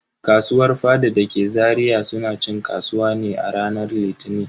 Kasuwar faɗa dake Zaria suna cin kasuwa ne a ranar Litini.